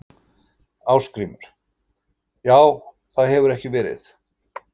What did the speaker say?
Ásgrímur: Já það hefur ekki verið?